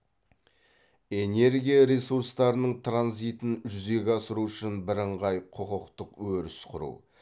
энергия ресурстарының транзитін жүзеге асыру үшін бірыңғай құқықтық өріс құру